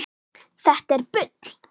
Þetta er bull!